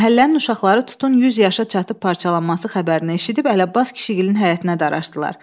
Məhəllənin uşaqları tutun 100 yaşına çatıb parçalanması xəbərini eşidib Ələbbas kişigilinin həyətinə daraşdılar.